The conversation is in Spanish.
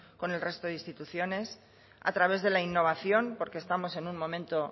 con el resto de instituciones a través de la innovación porque estamos en un momento